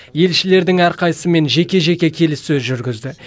елшілердің әрқайсысымен жеке жеке келіссөз жүргізді